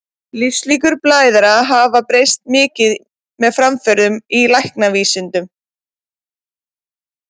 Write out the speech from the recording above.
Lífslíkur blæðara hafa breyst mikið með framförum í læknavísindum.